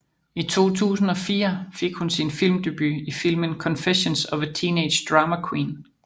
I 2004 fik hun sin filmdebut i filmen Confessions of a Teenage Drama Queen